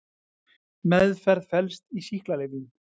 Meðferð felst í sýklalyfjum.